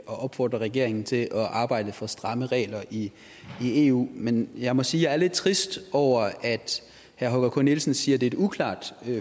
opfordrer regeringen til at arbejde for stramme regler i eu men jeg må sige at jeg er lidt trist over at herre holger k nielsen siger det et uklart